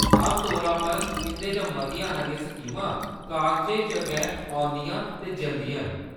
आमतौरा पर इंʼदे चा मतियां हारियां स्कीमां कागजें च गै औंदियां ते जंदियां न।